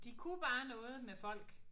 De kunne bare noget med folk